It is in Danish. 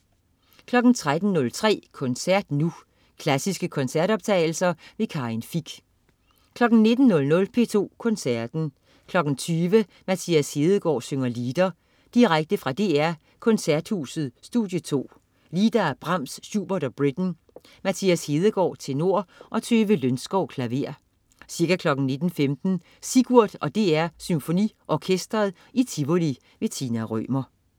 13.03 Koncert Nu. Klassiske koncertoptagelser. Karin Fich 19.00 P2 Koncerten. 20.00 Mathias Hedegaard synger lieder. Direkte fra DR Koncerthuset Studie 2. Lieder af Brahms, Schubert og Britten. Mathias Hedegaard, tenor og Tove Lønskov, klaver. Ca. 19.15 Sigurd og DR SymfoniOrkestret i Tivoli. Tina Rømer